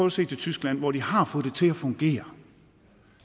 at se til tyskland hvor de har fået det til at fungere